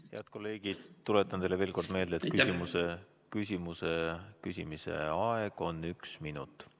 Head kolleegid, tuletan teile veel kord meelde, et küsimuse küsimise aeg on üks minut.